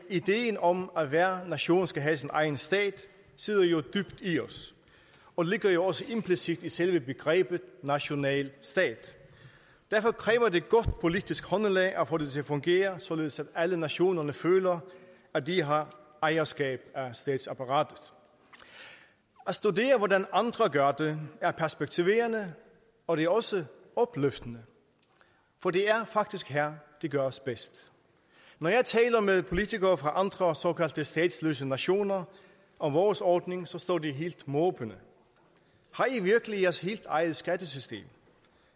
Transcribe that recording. ideen om at hver nation skal have sin egen stat sidder jo dybt i os og ligger også implicit i selve begrebet nationalstat derfor kræver det godt politisk håndelag at få det til at fungere således at alle nationerne føler at de har ejerskab af statsapparatet at studere hvordan andre gør det er perspektiverende og det er også opløftende for det er faktisk her det gøres bedst når jeg taler med politikere fra andre såkaldte statsløse nationer om vores ordning står de helt måbende har i virkelig jeres helt eget skattesystem